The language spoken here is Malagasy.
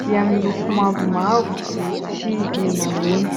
dia miloko mavomavo sy menamena.